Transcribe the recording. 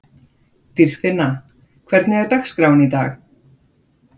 Dýrfinna, hvernig er dagskráin í dag?